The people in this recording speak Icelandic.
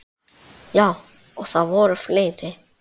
Já, og það voru fleiri.